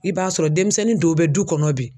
I b'a sɔrɔ demisɛnnin dow bɛ du kɔnɔ bi